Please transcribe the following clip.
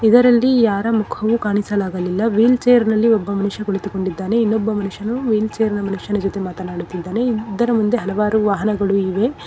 ಇದರಲ್ಲಿ ಯಾರ ಮುಖವ ಕಾಣಿಸಲಾಗಲಿಲ್ಲ ವೀಲ್ ಚೇರ್ ನಲ್ಲಿ ಒಬ್ಬ ಮನುಷ್ಯ ಕುಳಿತುಕೊಂಡಿದ್ದಾನೆ ಇನ್ನೊಬ್ಬ ಮನುಷ್ಯನು ವೀಲ್ ಚೇರ್ ನ ಮನುಷ್ಯನ ಜೊತೆ ಮಾತನಾಡುತ್ತಿದ್ದಾನೇ ಇದರ ಮುಂದೆ ವಾಹನಗಳು ಇವೆ.